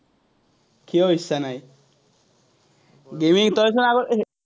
কিয় ইচ্ছা নাই? gaming তই চোন আগত